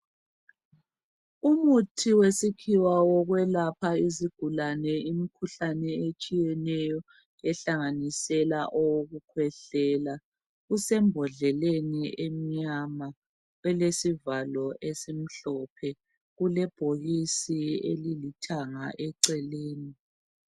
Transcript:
Umuthi wesikhiwa wokwelapha izigulane imikhuhlane etshiyeneyo ohlanganisela owokukhwehlela usembodleleni emnyama ilesivalo esimhlophe. Ulebhokisi elithanga eceleni.